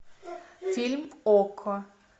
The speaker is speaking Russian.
фильм окко